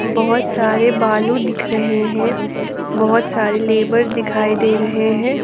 बहुत सारे बालू दिख रहे हैं बहुत सारे लेब दिखाई दे रहे हैं।